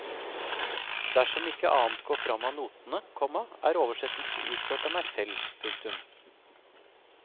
Dersom ikke annet går fram av notene, komma er oversettelsen utført av meg selv. punktum